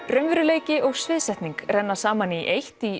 raunveruleiki og sviðsetning renna saman í eitt í